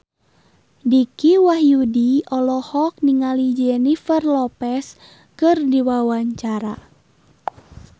Dicky Wahyudi olohok ningali Jennifer Lopez keur diwawancara